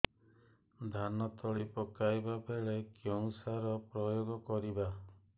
ଧାନ ତଳି ପକାଇବା ବେଳେ କେଉଁ ସାର ପ୍ରୟୋଗ କରିବା